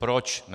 Proč ne?